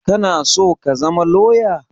Kana so ka zama lawyer?